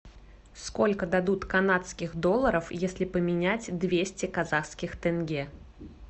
сколько дадут канадских долларов если поменять двести казахских тенге